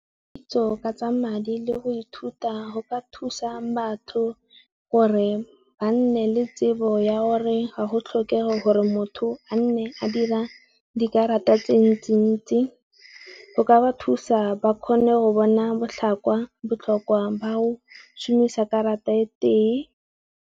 Kitso ka tsa madi le go ithuta go ka thusa batho gore ba nne le tsebo ya gore ga go tlhokege gore motho a nne a di a dikarata tse ntsi-ntsi. Go ka ba thusa ba kgone go bona botlhokwa ba go shumisa karata e tee.